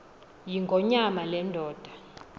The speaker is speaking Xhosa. yingonyama le ndoda